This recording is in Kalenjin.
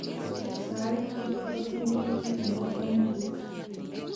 sait tugul ak inye ko kit nebo kamangut